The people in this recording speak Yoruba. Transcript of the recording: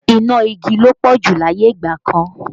Iná igi ló pọ̀ jù láyé ìgbà kan